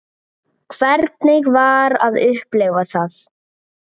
Hvernig var að upplifa það?